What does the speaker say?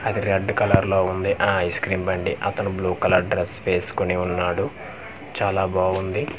అది red colour లో ఉంది ఆ ఐస్క్రీం బండి అతని బ్లూ కలర్ డ్రెస్ వేసుకొని ఉన్నాడు చాలా బాగుంది.